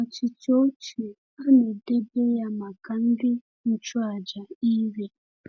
Achịcha ochie a na-edebe ya maka ndị nchụaja iri.